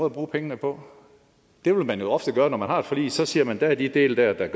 at bruge pengene på det vil man jo ofte gøre når man har et forlig så siger man at der er de her dele der gør